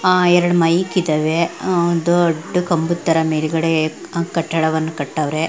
ಆಹ್ಹ್ ಎರಡು ಮೈಕ್ ಇದ್ದವೇ ದೊಡ್ಡ ಕಂಬದ ತರ ಮೇಲ್ಗಡೆ ಕಟ್ಟಡವನ್ನು ಕಟ್ಟವ್ರೆ.